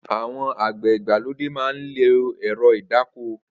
Awọn ágbẹ̀ igbàlódé mà n lọ́ ẹ̀rọ̀ idàkọ́